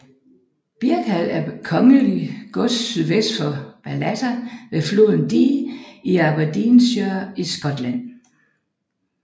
Birkhall er et kongeligt gods sydvest for Ballater ved floden Dee i Aberdeenshire i Skotland